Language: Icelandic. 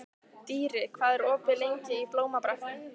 Dýri, hvað er opið lengi í Blómabrekku?